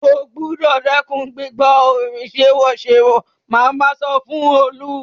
O gbúdọ̀ dẹ́kun gbígbọ́ orin sèwọ́sèwọ́! màmá sọ fún Olú.